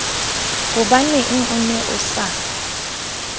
hobaneng o ne o sa